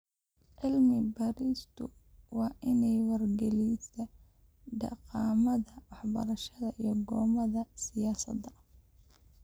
Cilmi baaristu waa inay wargelisaa dhaqamada waxbarashada iyo go'aamada siyaasadda.